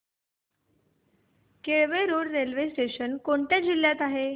Kelve road railway station कोणत्या जिल्ह्यात आहे